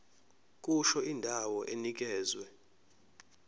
kusho indawo enikezwe